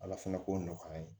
Ala fɛnɛ k'o nɔgɔya an ye